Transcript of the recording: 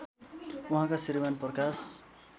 उहाँका श्रीमान् प्रकाश